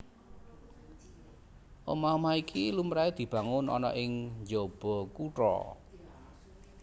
Omah omah iki lumrahé dibangun ana ing njaba kutha